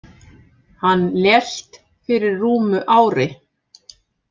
Hann lést fyrir rúmu ári.